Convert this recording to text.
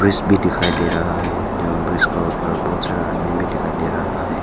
इस भी दिखाई दे रहा है एवं ब्रिज के ऊपर बहुत सारा आदमी भी दिखाई दे रहा हैं।